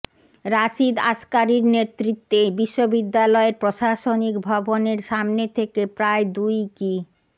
রাশিদ আসকারীর নেতৃত্বে বিশ্ববিদ্যালয়ের প্রশাসনিক ভবনের সামনে থেকে প্রায় দুই কি